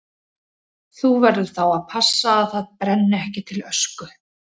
Þú verður þá að passa að það brenni ekki til ösku.